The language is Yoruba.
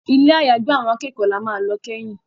Ilé àyágbé àwọn akẹ́kọ̀ọ́ là má lọ keyin.